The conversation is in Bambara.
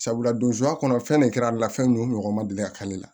Sabula don zoya kɔnɔ fɛn ne kɛra ale la fɛn nunnu ɲɔgɔn ma deli ka k'ale la